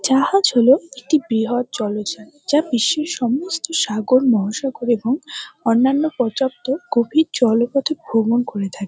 জাহাজ হল একটি বৃহদ জলজান যা বিশ্বের সমস্ত সাগর মহাসাগর এবং অন্যান্য পর্যাপ্ত গভীর জলপথে ভ্রমন করে থা--